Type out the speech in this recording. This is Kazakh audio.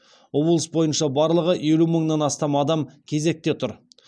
облыс бойынша барлығы елу мыңнан астам адам кезекте тұр